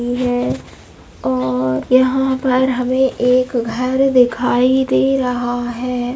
मुझे अ यहाँ पर हमे एक घर दिखाई दे रहा हैं ।